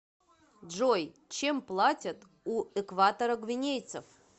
джой чем платят у экваторогвинейцев